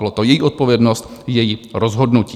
Byla to její odpovědnost, její rozhodnutí.